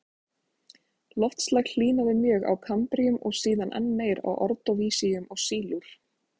Loftslag hlýnaði mjög á kambríum og síðan enn meir á ordóvísíum og sílúr.